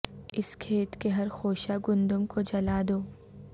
اس کھیت کے ہر خوشہ گندم کو جلا دو